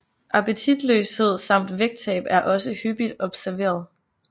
Appetitløshed samt vægttab er også hyppigt observeret